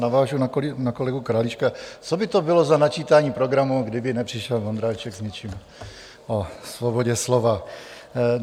Navážu na kolegu Králíčka: Co by to bylo za načítání programu, kdyby nepřišel Vondráček s něčím o svobodě slova?